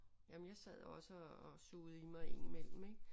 Jamen jeg sad også og sugede i mig indimellem ik